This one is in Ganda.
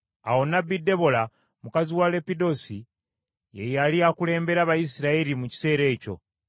Awo Nnabbi Debola mukazi wa Leppidosi ye yali akulembera Abayisirayiri mu kiseera ekyo.